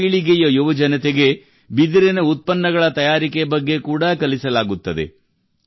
ಹೊಸ ಪೀಳಿಗೆಯ ಯುವಜನತೆಗೆ ಬಿದಿರಿನ ಉತ್ಪನ್ನಗಳ ತಯಾರಿಕೆ ಬಗ್ಗೆ ಕೂಡಾ ಕಲಿಸಲಾಗುತ್ತದೆ